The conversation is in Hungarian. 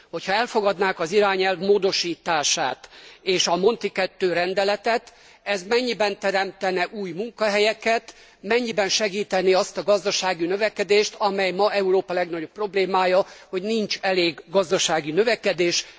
Hogy ha elfogadnák az irányelv módosítását és a Monti II. rendeletet, ez mennyiben teremtene új munkahelyeket, mennyiben segítené azt a gazdasági növekedést, amely ma Európa legnagyobb problémája, hogy nincs elég gazdasági növekedés.